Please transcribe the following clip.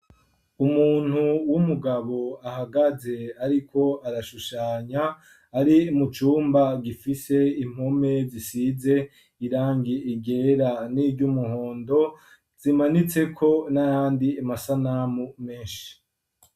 Umuntu w'umugabo ahagaze, ariko arashushanya ari mucumba gifise impume zisize irangie igera n'iryo umuhondo zimanitseko nayandi amasanamu menshi.